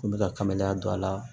N bɛ ka kabaliya don a la